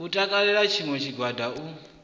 u takalela tshiṋwe tshigwada u